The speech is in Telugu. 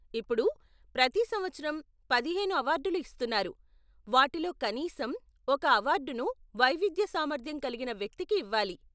ఇప్పుడు, ప్రతి సంవత్సరం పదిహేను అవార్డులు ఇస్తున్నారు, వాటిలో కనీసం ఒక అవార్డును వైవిధ్య సామర్థ్యం కలిగిన వ్యక్తికి ఇవ్వాలి.